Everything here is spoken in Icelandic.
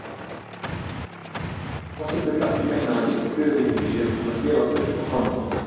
Þorsteinn vill ekki meina að íslensk fyrirtæki séu búin að gefast upp á krónunni?